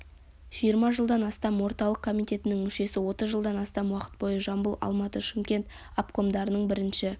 жиырма жылдан астам орталық комитетінің мүшесі отыз жылдан астам уақыт бойы жамбыл алматы шымкент обкомдарының бірінші